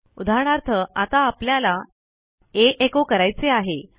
उदाहरणार्थ आता आपल्याला आ एचो करायचे आहे